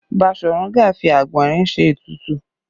Basọ̀run Gáà fi àgbọ̀nrín ṣe ètùtù